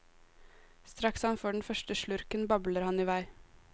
Straks han får den første slurken, babler han i vei.